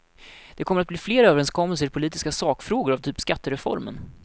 Det kommer att bli fler överenskommelser i politiska sakfrågor av typ skattereformen.